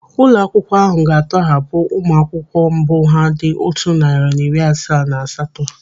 Ụlọ akwụkwọ ahụ ga-atọghapụ ụmụ akwụkwọ mbụ ha dị otu narị na iri asaa na asatọ.